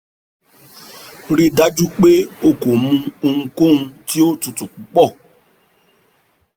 rii daju pe o ko mu ohunkohun ti o tutu pupọ